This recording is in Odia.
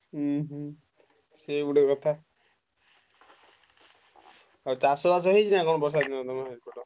ହୁଁ ହୁଁ ସିଏ ଗୋଟେ କଥା ଆଉ ଚାଷ ବାସ କଣ ହେଇଛି ନାଁ ବର୍ଷାଦିନ ତମ ସେପଟ?